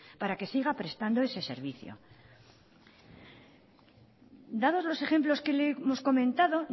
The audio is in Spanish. para que siga prestando ese servicio dados los ejemplos que le hemos comentado